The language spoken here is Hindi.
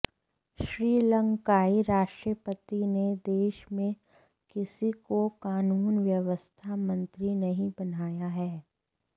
श्रीलंकाई राष्ट्रपति ने देश में किसी को कानून व्यवस्था मंत्री नहीं बनाया है